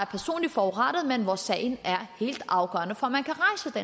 personligt forurettet men hvor sagerne er helt afgørende for